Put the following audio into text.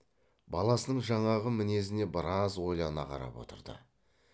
баласының жаңағы мінезіне біраз ойлана қарап отырды